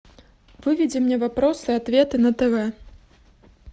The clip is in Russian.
выведи мне вопросы и ответы на тв